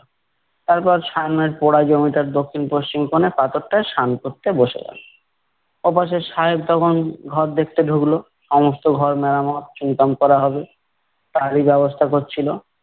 তারপর সামনের পোড়া জমিটার দক্ষিণ পশ্চিম কোণে পাথরটায় সান করতে বসে গেলো। ওপাশে সাহেব তখন ঘর দেখতে ঢুকলো, সমস্ত ঘর মেরামত চুনকাম করা হবে। তারই ব্যবস্থা করছিলো।